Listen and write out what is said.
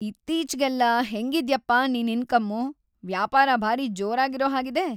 ಇತ್ತೀಚೆಗೆಲ್ಲ ಹೆಂಗಿದ್ಯಪ್ಪ ನಿನ್‌ ಇನ್ಕಮ್ಮು, ವ್ಯಾಪಾರ ಭಾರೀ ಜೋರಾಗಿರೋ ಹಾಗಿದೆ.